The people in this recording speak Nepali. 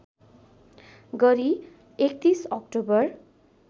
गरी ३१ अक्टोबर